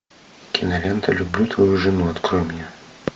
кинолента люблю твою жену открой мне